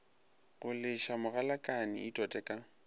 go leša mogalakane itote ka